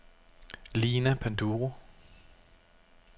Lina Panduro